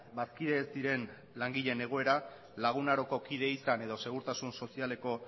bazkide ez diren langileen egoera lagun aroko kide izan edo segurtasun sozialeko